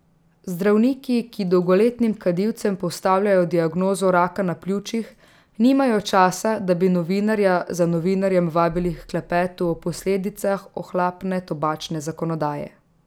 Zdravniki, ki dolgoletnim kadilcem postavljajo diagnozo raka pljuč, nimajo časa, da bi novinarja za novinarjem vabili h klepetu o posledicah ohlapne tobačne zakonodaje.